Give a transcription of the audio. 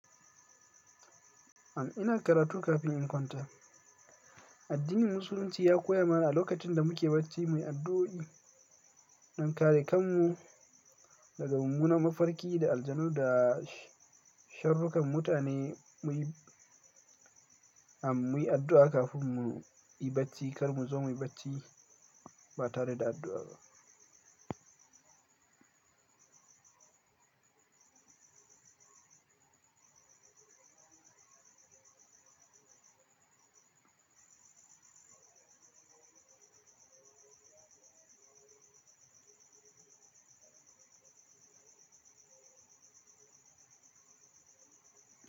Am, ina karatu kafin in kwanta. Addinin Musulunci ya koya mana a lokacin da muke bacci muyi addu'o'i don kare kanmu daga mumminan mafarki da aljanu da sharrukan mutane. Muyi addu'a kafin mu yi bacci kar mu zo muyi bacci ba tare da addu'a ba.